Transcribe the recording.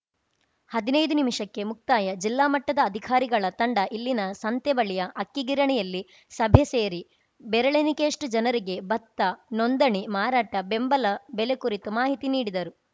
ಹದ್ನೈದು ನಿಮಿಷಕ್ಕೆ ಮುಕ್ತಾಯ ಜಿಲ್ಲಾ ಮಟ್ಟದ ಅಧಿಕಾರಿಗಳ ತಂಡ ಇಲ್ಲಿನ ಸಂತೆ ಬಳಿಯ ಅಕ್ಕಿಗಿರಣಿಯಲ್ಲಿ ಸಭೆ ಸೇರಿ ಬೆರಳೆಣಿಕೆಯಷ್ಟುಜನರಿಗೆ ಭತ್ತ ನೊಂದಣಿ ಮಾರಾಟ ಬೆಂಬಲ ಬೆಲೆ ಕುರಿತು ಮಾಹಿತಿ ನೀಡಿದರು